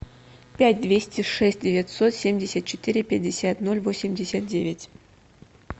пять двести шесть девятьсот семьдесят четыре пятьдесят ноль восемьдесят девять